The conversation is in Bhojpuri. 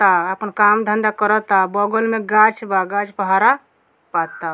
आ अपन काम धंधा करता बगल में गाछ बा गाछ प हरा पत्ता --